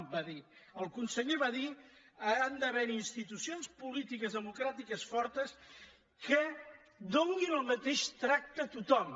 ho va dir el conseller va dir han d’haver·hi insti·tucions polítiques i democràtiques fortes que donin el mateix tracte a tothom